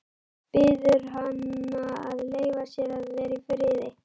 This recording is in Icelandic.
Biður hana að leyfa sér að vera í friði.